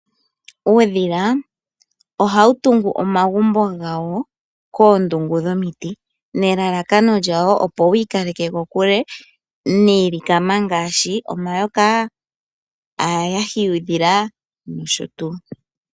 Uudhila ohawu tungu omagumbo gawo koondungu dhomiti nelalakano lyawo opo wi ikaleke kokule niilikama ngaashi: omayoka, aayahi yuudhila nosho tuu.